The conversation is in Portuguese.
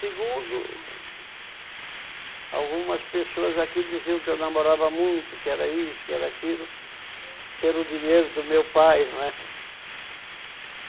Segundo, algumas pessoas aqui diziam que eu namorava muito, que era isso, que era aquilo, pelo dinheiro do meu pai, não é?